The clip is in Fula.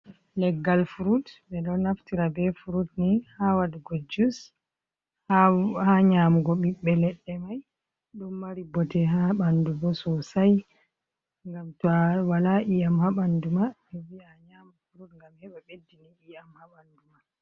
Leggal fruit, ɓe ɗo naftira be frut ni ha waɗugo jus, ha nyamugo ɓibbe leɗɗe mai, ɗo mari bote ha bandu bo sosai gam to a wala iyam ha bandu ma ɓe vi'a a nyama frut gam heba beddini iyam habandu ma.